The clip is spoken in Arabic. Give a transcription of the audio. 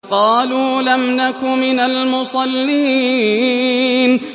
قَالُوا لَمْ نَكُ مِنَ الْمُصَلِّينَ